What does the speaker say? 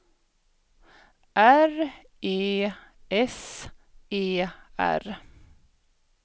R E S E R